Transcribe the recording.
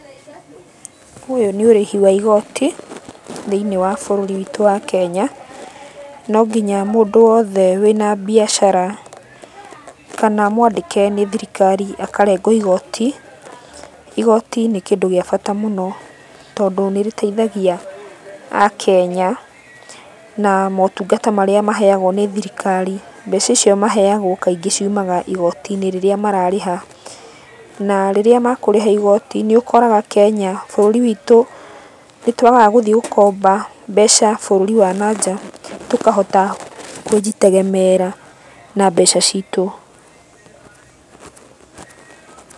Ũyũ nĩ ũrĩhi wa igoti. Thĩiniĩ wa bũrũri witũ wa Kenya, no nginya mũndũ wothe wĩna mbiacara kana mwandĩke nĩ thirikari akarengwo igoti. Igoti nĩ kĩndũ gĩa bata mũno tondũ nĩrĩteithagia Akenya na motungata marĩa maheagwo nĩ thirikari, mbeca icio maheagwo kaingĩ ciumaga igoti-inĩ rĩrĩa mararĩha. Na rĩrĩa makũrĩha igoti nĩũkoraga Kenya bũrũri witũ nĩtwagaga gũthiĩ gũkomba mbeca bũrũri wa nanja, tũkahota kwĩjitegemeera na mbeca citũ. Pause